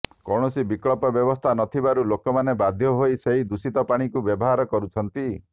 କୌଣସି ବିକଳ୍ପ ବ୍ୟବସ୍ଥା ନଥିବାରୁ ଲୋକମାନେ ବାଧ୍ୟ ହୋଇ ସେହି ଦୂଷିତ ପାଣିକୁ ବ୍ୟବହାର କରୁଛନ୍ତି